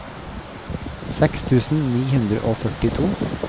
seks tusen ni hundre og førtito